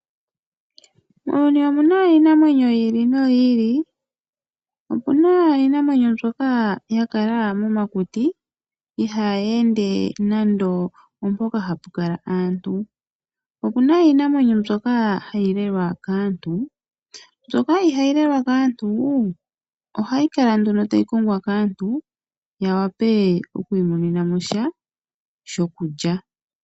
Muuyuni omuna iinamwenyo yili noyili opuna iinamwenyo mbyoka ya kala momakuti ihayi ende mpono hapu kala aantu, opuna iinamwenyo mbyoka hayi lelwa kaantu. Mbyoka ihayi lelwa kaantu ohayi kala nduno tayi kongwa kaantu ya wape okwiimonena mosha sho kulya.